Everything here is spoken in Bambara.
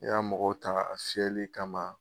I ka mɔgɔw tanga a fiyɛli kama